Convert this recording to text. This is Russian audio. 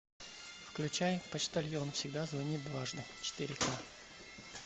включай почтальон всегда звонит дважды четыре ка